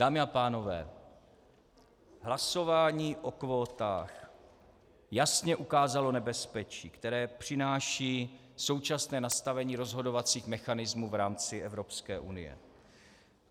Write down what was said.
Dámy a pánové, hlasování o kvótách jasně ukázalo nebezpečí, které přináší současné nastavení rozhodovacích mechanismů v rámci Evropské unie.